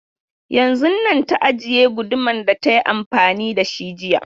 Yanzun nan ta ajiye gudumar da ta yi amfani da shi jiya.